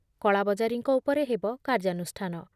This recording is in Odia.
କଳାବଜାରୀଙ୍କ ଉପରେ ହେବ କାର୍ଯ୍ୟାନୁଷ୍ଠାନ